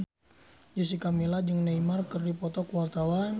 Jessica Milla jeung Neymar keur dipoto ku wartawan